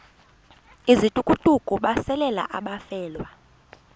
izithukuthuku besalela abafelwa